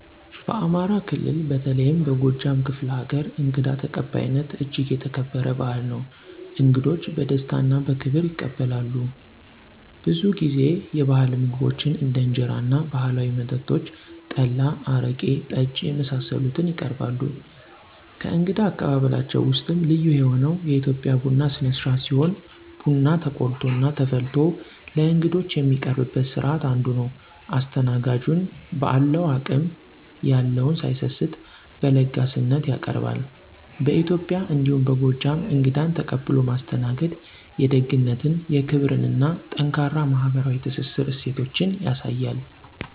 በአማራ ክልል በተለይም በጎጃም ክፍለ ሀገር እንግዳ ተቀባይነት እጅግ የተከበረ ባህል ነው። እንግዶች በደስታ እና በክብር ይቀበላሉ፣ ብዙ ጊዜ የባህል ምግቦችን እንደ እንጀራ እና ባህላዊ መጠጦች (ጠላ፣ አረቄ፣ ጠጅ) የመሳሰሉትን ይቀርባሉ። ከእንግዳ አቀባበላቸው ውስጥም ልዩ የሆነው የኢትዮጵያ ቡና ስነስርአት ሲሆን ቡና ተቆልቶ እና ተፈልቶ ለእንግዶች የሚቀርብበት ስርአት አንዱ ነው። አስተናጋጁን በአለው አቅም የለውን ሳይሰስት በለጋስነት ያቀርባሉ። በኢትዬጵያ እንዲሁም በጎጃም እንግዳን ተቀብሎ ማስተናገድ የደግነትን፣ የክብርን እና ጠንካራ ማህበራዊ ትስስር እሴቶችን ያሳያል።